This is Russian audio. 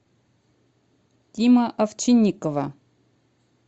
тима овчинникова